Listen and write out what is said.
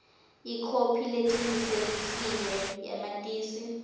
ikhophi lecinisekisiwe yamatisi